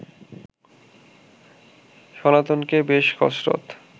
সনাতনকে বেশ কসরত